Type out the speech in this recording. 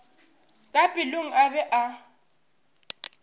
ka pelong a be a